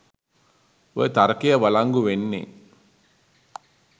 ඔය තර්කය වලංගු වෙන්නේ